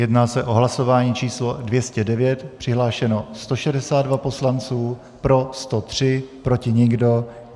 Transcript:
Jedná se o hlasování číslo 209, přihlášeno 162 poslanců, pro 103, proti nikdo.